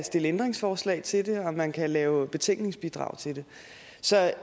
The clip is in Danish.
stille ændringsforslag til det og man kan lave betænkningsbidrag til det